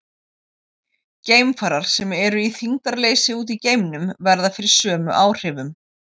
Geimfarar sem eru í þyngdarleysi úti í geimnum verða fyrir sömu áhrifum.